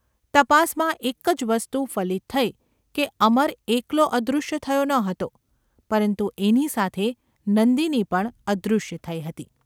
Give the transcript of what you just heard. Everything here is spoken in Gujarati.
તપાસમાં એક જ વસ્તુ ફલિત થઈ કે અમર એકલો અદૃશ્ય થયો ન હતો, પરંતુ એની સાથે નંદિની પણ અદૃશ્ય થઈ હતી.